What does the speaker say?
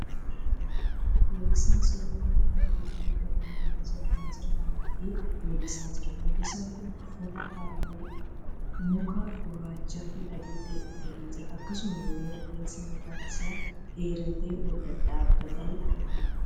Weellisaa SORAA mana bareedaa dhagaa irraa ijaarame jala dhaabbatee weellisaa jira. Weellisaan kun uffata halluu makaa gurraachaa fi adii ta'e uffatee jira. Akkasumallee rifeensi mataa isaa dheeratee ol dhadhaabbatee argama.